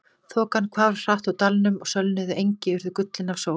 Þokan hvarf hratt úr dalnum og sölnuð engi urðu gullin af sól.